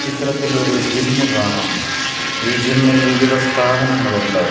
ചിത്രത്തിൽ ഒരു ജിം കാണാം ഈ ജിമ്മിൽ വിവിധ സ്ഥാപനങ്ങൾ ഉണ്ട്.